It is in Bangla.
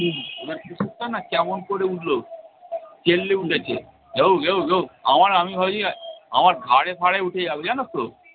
মানে কুকুরটা না কেমন করে উঠলো। চেল্লে উঠেছে ঘেউ ঘেউ ঘেউ আমার আমি ভাবছি আমার ঘাড়ে ফাড়ে উঠে যাবে জানো তো